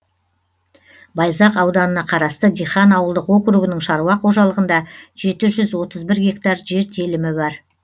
байзақ ауданына қарасты дихан ауылдық округінің шаруа қожалығында жеті жүз отыз бір гектар жер телімі бар